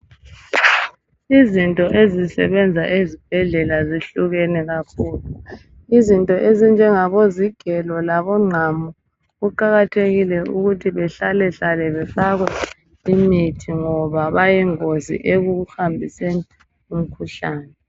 Izinto ezisebenza ezibhedlela zihlukene kakhulu. Kuzinto ezifana lezigelo labongqamu kumele bahlalahlale bafakwe imithi ngoba bayingozi ekuhambiseni imikhuhlane.